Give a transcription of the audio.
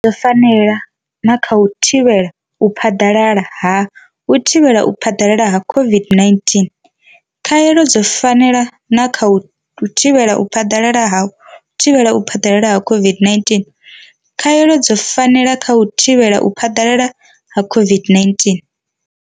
Dzo fanela na kha u thivhela u phaḓalala ha u thivhela u phaḓalala ha COVID-19. Khaelo dzo fanela na kha u thivhela u phaḓalala ha u thivhela u phaḓalala ha COVID-19. Khaelo dzo fanela na kha u thivhela u phaḓalala ha u thivhela u phaḓalala ha COVID-19.